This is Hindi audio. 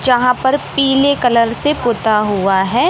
जहां पर पीले कलर से पुता हुआ है।